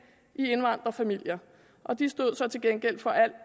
i indvandrerfamilier og de stod så til gengæld for al